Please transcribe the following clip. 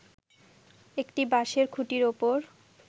একটি বাঁশের খুঁটির ওপর